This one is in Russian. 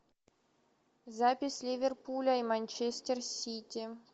запись ливерпуля и манчестер сити